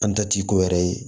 An ta ti ko wɛrɛ ye